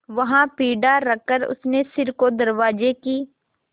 वहाँ पीढ़ा रखकर उसने सिर को दरवाजे की